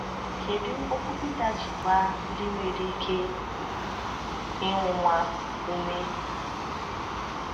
Kedu okwu Peter ji gbaa ndị nwere ike ịnwụnwa ume?